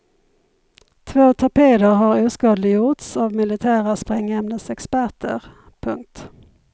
Två torpeder har oskadliggjorts av militära sprängämnesexperter. punkt